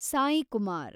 Saikumar